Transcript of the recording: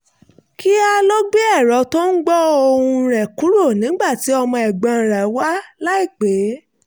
kíá ló gbé ẹ̀rọ tó ń gbọ́ ohùn rẹ̀ kúrò nígbà tí ọmọ ẹ̀gbọ́n rẹ̀ wá láìpè é